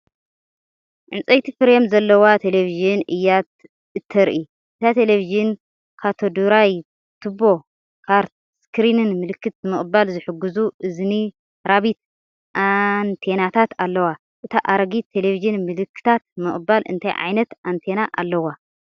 ዕንጨይቲ ፍሬም ዘለዋ ተለቪዥን እያ እተርኢ። እታ ተለቪዥን ካቶድ ራይ ቱቦ (CRT) ስክሪንን ምልክታት ንምቕባል ዝሕግዙ 'እዝኒ ራቢት' ኣንቴናታትን ኣለዋ። እታ ኣረጊት ተለቪዥን ምልክታት ንምቕባል እንታይ ዓይነት ኣንቴና ኣለዋ?